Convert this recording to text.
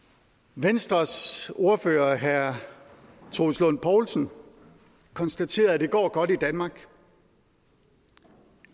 venstres ordfører herre troels lund poulsen konstaterede at det går godt i danmark